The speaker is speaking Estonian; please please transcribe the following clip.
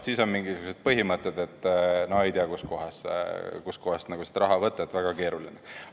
Siis on mingisugused põhimõtted, et no ei tea, kust kohast seda raha võtta – väga keeruline.